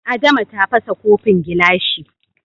Adama ta fasa kofin gilashi.